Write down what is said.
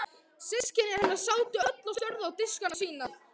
Systkini hennar sátu öll og störðu á diskana sína.